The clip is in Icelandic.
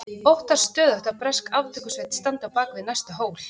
Óttast stöðugt að bresk aftökusveit standi á bak við næsta hól.